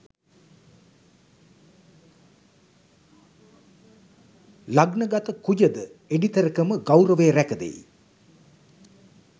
ලග්නගත කුජ ද එඩිතරකම ගෞරවය රැකදෙයි.